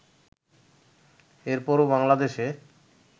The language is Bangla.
এর পরও বাংলাদেশে